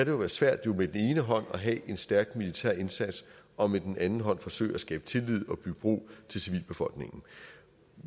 jo være svært med den ene hånd at have en stærk militær indsats og med den anden hånd forsøge at skabe tillid og bygge bro til civilbefolkningen